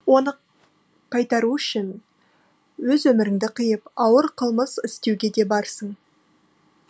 оны қайтару үшін өз өміріңді қиып ауыр қылмыс істеуге де барсың